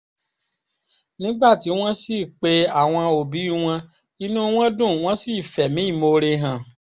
nígbà tí wọ́n sì pe àwọn òbí wọn inú wọn dùn wọ́n sì fẹ̀mí ìmoore hàn